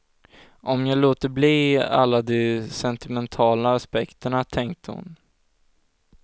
Om jag låter bli alla de sentimentala aspekterna, tänkte hon.